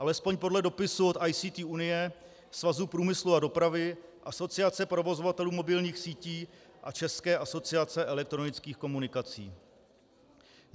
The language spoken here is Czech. Alespoň podle dopisu od ICT Unie, Svazu průmyslu a dopravy, Asociace provozovatelů mobilních sítí a České asociace elektronických komunikací.